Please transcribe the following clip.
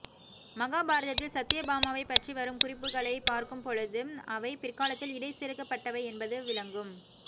மகாபாரதத்தில் சத்யபாமாவை பற்றி வரும் குறிப்புகலைப் பார்க்கும்பொழுது அவை பிற்காலத்தில் இடை செருகப் பட்டவை என்பது விளங்கும்